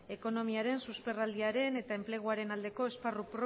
ekonomiaren susperraldiaren eta enpleguaren aldeko esparru